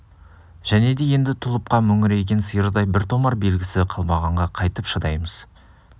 және де енді тұлыпқа мөңіреген сиырдай бір томар белгісі қалмағанға қайтып шыдаймыз